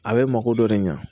A bɛ mako dɔ de ɲɛ